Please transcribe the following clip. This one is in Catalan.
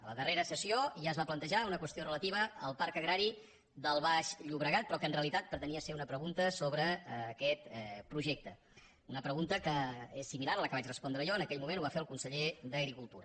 a la darrera sessió ja es va plantejar una qüestió relativa al parc agrari del baix llobregat però que en realitat pretenia ser una pregunta sobre aquest projecte una pregunta que és similar a la que vaig a respondre jo en aquell moment ho va fer el conseller d’agricultura